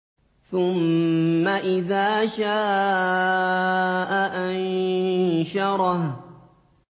ثُمَّ إِذَا شَاءَ أَنشَرَهُ